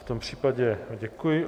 V tom případě děkuji.